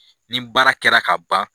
Nin baara kɛra ka ban.